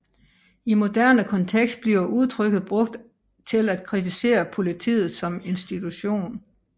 I moderne kontekst bliver udtrykket brugt til at kritisere politiet som institution